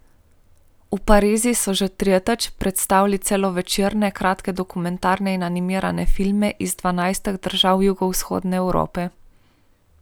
V Parizu so že tretjič predstavili celovečerne, kratke, dokumentarne in animirane filme iz dvanajstih držav jugovzhodne Evrope.